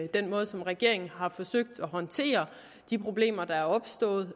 den måde som regeringen har forsøgt at håndtere de problemer der er opstået